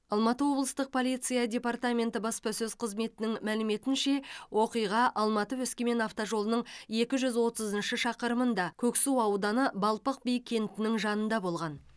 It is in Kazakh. алматы облыстық полиция департаменті баспасөз қызметінің мәліметінше оқиға алматы өскемен автожолының екі жүз отызыншы шақырымында көксу ауданы балпық би кентінің жанында болған